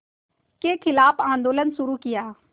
के ख़िलाफ़ आंदोलन शुरू किया